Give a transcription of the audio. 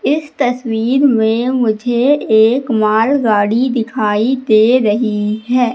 इस तस्वीर में मुझे एक मालगाड़ी दिखाई दे रही है।